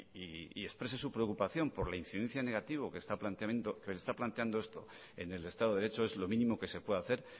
y exprese su preocupación por la incidencia negativa que se está planteando esto en el estado de derecho es lo mínimo que se puede hacer